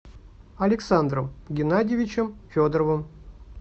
александром геннадьевичем федоровым